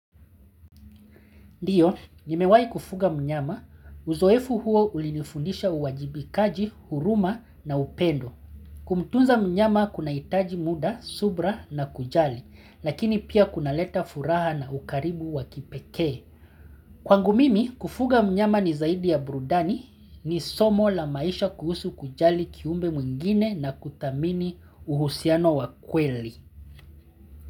Ndiyo, nimewai kufuga mnyama, uzoefu huo ulinifundisha uwajibikaji, huruma na upendo. Kumtunza mnyama kunahitaji muda, subra na kujali, lakini pia kunaleta furaha na ukaribu wakipekee. Kwangu mimi, kufuga mnyama ni zaidi ya burudani ni somo la maisha kuhusu kujali kiumbe mwingine na kutamini uhusiano wakweli.